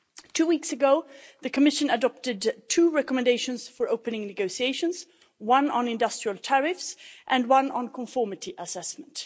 Two weeks ago, the Commission adopted two recommendations for opening negotiations, one on industrial tariffs and one on conformity assessment.